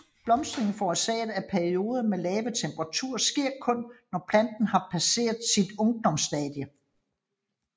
Blomstring forårsaget af perioder med lave temperaturer sker kun når planten har passeret sit ungdomsstadie